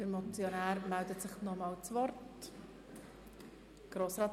Der Motionär wünscht das Wort nochmals.